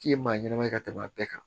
K'i ye maa ɲanama ye ka tɛmɛ a bɛɛ kan